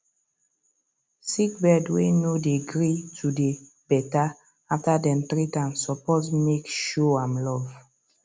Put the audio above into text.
sick bird way no dey gree to dey better after dem treat am suppose make show am love